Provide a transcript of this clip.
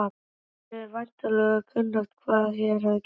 Yður er væntanlega kunnugt hvað hér hefur gerst.